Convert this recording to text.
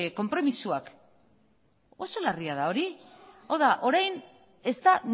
konpromisoak oso larria da hori hau da orain ez da